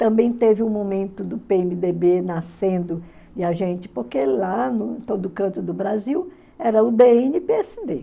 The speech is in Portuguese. Também teve um momento do pê emê dê bê nascendo e a gente, porque lá, em todo canto do Brasil, era o dê ene pê ésse dê